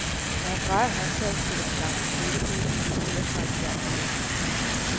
Når han drejer håndtaget, spiller den gamle spilledåse melodier fra en fjern tid.